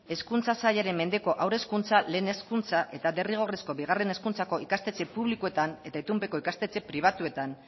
hezkuntza sailaren mendeko haur hezkuntza lehen hezkuntza eta derrigorrezko bigarren hezkuntzako ikastetxe publikoetan eta itunpeko ikastetxe pribatuetan